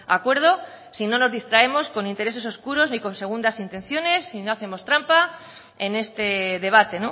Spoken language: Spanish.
acuerdo si no nos distraemos con intereses oscuros ni con segundas intenciones si no hacemos trampa en este debate